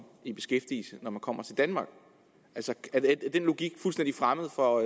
i beskæftigelse når man kommer til danmark er den logik fuldstændig fremmed for